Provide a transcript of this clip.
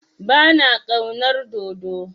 Ba na ƙaunar dodo.